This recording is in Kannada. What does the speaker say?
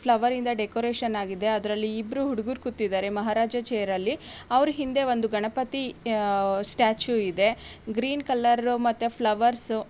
ಫ್ಲವರ್ ಇಂದ ಡೆಕೋರೇಷನ್ ಆಗಿದೆ ಅದ್ರಲ್ಲಿ ಇಬ್ಬರೂ ಹುಡುಗರು ಕೂತಿದ್ದಾರೆ ಮಹಾರಾಜ ಚೇರಿನಲ್ಲಿ ಅವರ ಹಿಂದೆ ಒಂದು ಗಣಪತಿ ಸ್ಟ್ಯಾಚು ಇದೆ ಗ್ರೀನ್ ಕಲರು ಮತ್ತೆ ಫ್ಲವರ್ಸ್ --